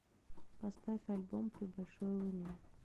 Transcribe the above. поставь альбом при большой луне